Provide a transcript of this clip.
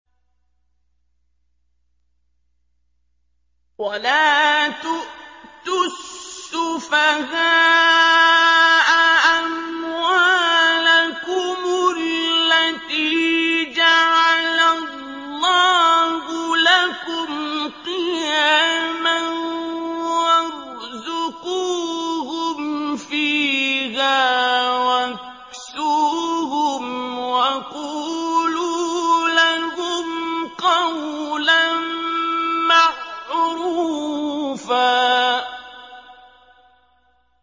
وَلَا تُؤْتُوا السُّفَهَاءَ أَمْوَالَكُمُ الَّتِي جَعَلَ اللَّهُ لَكُمْ قِيَامًا وَارْزُقُوهُمْ فِيهَا وَاكْسُوهُمْ وَقُولُوا لَهُمْ قَوْلًا مَّعْرُوفًا